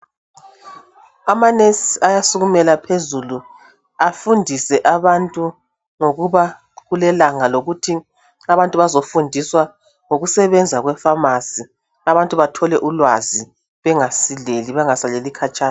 Amanesi ayasukumela phezulu afundise abantu ngokuba kulelanga lokuthi abantu bezofundiswa ngokusebenza kwefamasi. Abantu bathole ulwazi bengasileli bengasaleli khatshana.